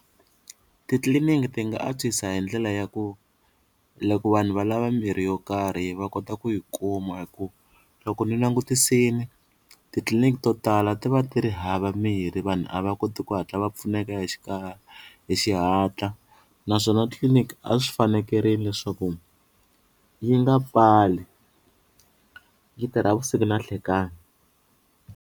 Titliliniki ti nga antswisa hi ndlela ya ku la ku vanhu valava mirhi yo karhi va kota ku yi kuma hi ku loko ni langutisile titliliniki to tala ti va ti ri hava mirhi vanhu a va koti ku hatla va pfuneka hi xikarhi hi xihatla naswona tliliniki a swi fanekerile leswaku yi nga pfali yi tirha vusiku na nhlekani.